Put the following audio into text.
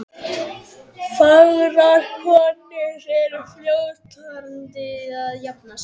Fagrar konur eru fljótari að jafna sig.